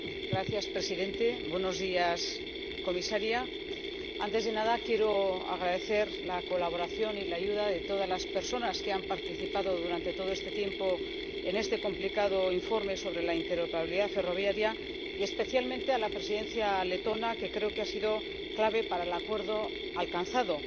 Señor Presidente, señora Comisaria, antes de nada quiero agradecer la colaboración y la ayuda de todas las personas que han participado durante todo este tiempo en este complicado informe sobre la interoperabilidad ferroviaria, y especialmente a la Presidencia letona, que creo que ha sido clave para el acuerdo alcanzado.